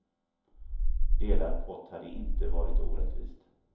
Delad pott hade inte varit orättvist.